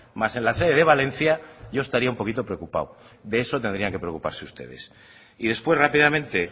más en la sede de valencia yo estaría un poquito preocupado de eso tendrían que preocuparse ustedes y después rápidamente